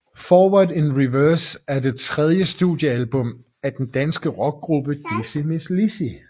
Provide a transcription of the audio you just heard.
Forward in Reverse er det tredje studiealbum af den danske rockgruppe Dizzy Mizz Lizzy